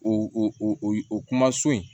O o kuma so in